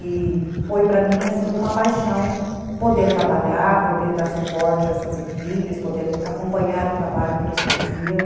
E foi para mim assim uma paixão, poder trabalhar, poder dar suporte a essas equipes, poder acompanhar o trabalho que eles faziam.